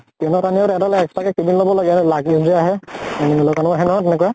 train ত আনিও, তাহেতলে extra কে cabin লʼব লাগে । আৰু luggage যে আহে । আহে নহয় তেনেকুৱা ।